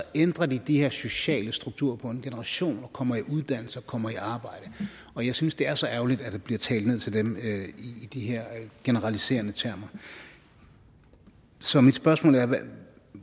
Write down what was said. ændrer de de her sociale strukturer på en generation og kommer i uddannelse og kommer i arbejde og jeg synes det er så ærgerligt at der bliver talt ned til dem i de her generaliserende termer så mit spørgsmål er hvad